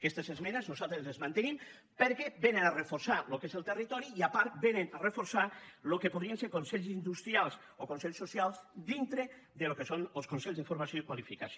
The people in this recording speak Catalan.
aquestes esmenes nosaltres les mantenim perquè vénen a reforçar el que és el territori i a part vénen a reforçar el que podrien ser consells industrials o consells socials dintre del que són els consells de formació i qualificació